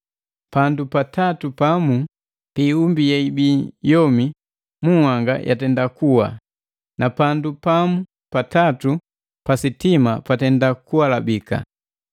pandu pa tatu pamu pi iumbi yeibii yomi mu nhanga yatenda kuwa, na pandu pamu pa tatu pa sitima patenda kualabika.